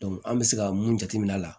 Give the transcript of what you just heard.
an bɛ se ka mun jate minɛ a la